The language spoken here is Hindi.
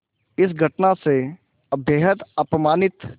इस घटना से बेहद अपमानित